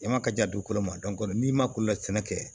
I ma ka di a dugukolo ma n'i ma ko la sɛnɛ kɛ